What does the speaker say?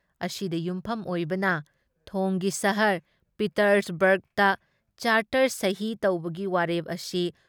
ꯑꯁꯤꯗ ꯌꯨꯝꯐꯝ ꯑꯣꯏꯕꯅ ꯊꯣꯡꯒꯤ ꯁꯍꯔ ꯄꯤꯇꯔꯁꯕꯔꯒꯗ ꯆꯥꯔꯇꯔ ꯁꯍꯤ ꯇꯧꯕꯒꯤ ꯋꯥꯔꯦꯞ ꯑꯁꯤ